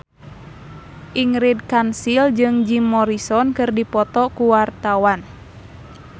Ingrid Kansil jeung Jim Morrison keur dipoto ku wartawan